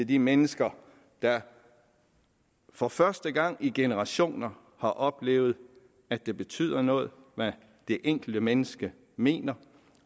de mennesker der for første gang i generationer har oplevet at det betyder noget hvad det enkelte menneske mener